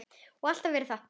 Og alltaf verið það.